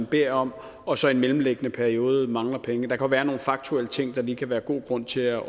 bedt om og så i den mellemliggende periode mangler penge der kan være nogle faktuelle ting der lige kan være god grund til at